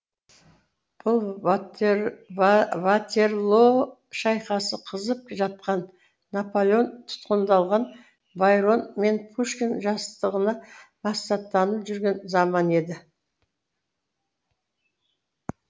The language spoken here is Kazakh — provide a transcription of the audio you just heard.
бұл ватерлоо шайқасы қызып жатқан наполеон тұтқындалған байрон мен пушкин жастығына жүрген заман еді